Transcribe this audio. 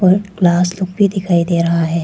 Glass look भी दिखाई दे रहा है।